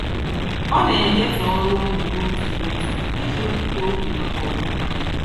Ọ na-ekesa ọrụ ụlọ n'otu n'otu iji wepụta oge maka ọdịmma ya.